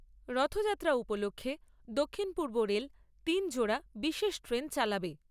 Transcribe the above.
রথযাত্রা উপলক্ষে দক্ষিণ পূর্ব রেল তিন জোড়া বিশেষ ট্রেন চালাবে।